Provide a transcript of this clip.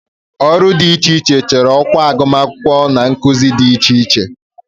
Ọrụ dị iche iche chọrọ ọkwa agụmakwụkwọ na nkuzi dị iche iche